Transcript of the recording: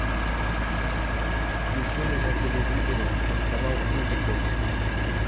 включи мне на телевизоре телеканал мьюзик бокс